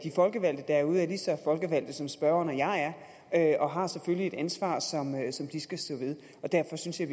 folkevalgte derude er lige så folkevalgte som spørgeren og jeg er og har selvfølgelig et ansvar som de skal stå ved derfor synes jeg